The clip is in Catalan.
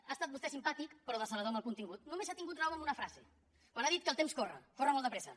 ha estat vostè simpàtic però decebedor amb el contingut només ha tingut raó en una frase quan ha dit que el temps corre corre molt de pressa